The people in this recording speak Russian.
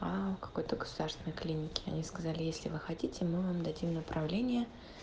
а у какой-то государственной клиники они сказали если вы хотите мы вам дадим направление